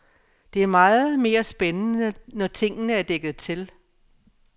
Det er meget mere spændende, når tingene er dækket til.